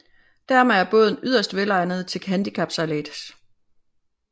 Dermed er båden yderst velegnet til handicapsejlads